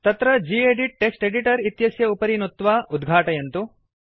तत्र gedit text editor इत्यस्य उपरि नुत्वा उद्घातयतु